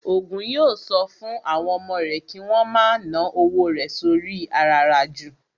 Ògún yóò sọ fún àwọn ọmọ rẹ̀ kí wón ma ná owó rẹ̀ sóri i àràràjù